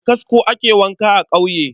Da kasko ake wanka a ƙauye.